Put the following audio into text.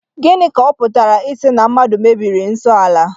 Gịnị ka ọ pụtara ịsị na mmadụ mebiri nsọ ala?